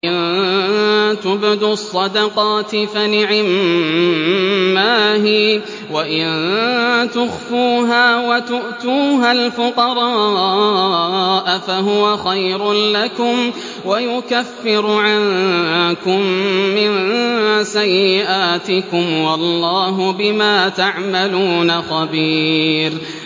إِن تُبْدُوا الصَّدَقَاتِ فَنِعِمَّا هِيَ ۖ وَإِن تُخْفُوهَا وَتُؤْتُوهَا الْفُقَرَاءَ فَهُوَ خَيْرٌ لَّكُمْ ۚ وَيُكَفِّرُ عَنكُم مِّن سَيِّئَاتِكُمْ ۗ وَاللَّهُ بِمَا تَعْمَلُونَ خَبِيرٌ